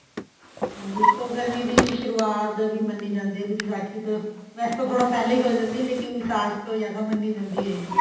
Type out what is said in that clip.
ਹਾਂਜੀ ਇਸ ਤੋਂ ਗਰਮੀ ਦੀ ਸ਼ੁਰਵਾਤ ਵੀ ਮੰਨੀ ਜਾਂਦੀ ਏ ਬੀ ਵਿਸਾਖੀ ਤੋਂ ਵੈਸੇ ਤਾਂ ਥੋੜਾ ਪਹਿਲਾਂ ਹੀ ਹੋ ਜਾਂਦੀ ਏ ਲੇਕਿਨ ਵਿਸਾਖ ਤੋਂ ਜਿਆਦਾ ਮੰਨੀ ਜਾਂਦੀ ਹੈਗੀ ਏ